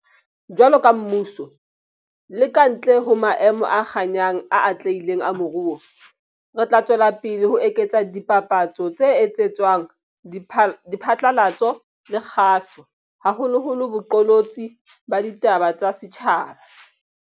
Jwaloka mmuso, le ka ntle ho maemo a kganyang a atlehileng a moruo, re tla tswela pele ho eketsa dipapatso tse etsetswang diphatlalatso le kgaso, haholoholo boqolotsi ba ditaba tsa setjhaba.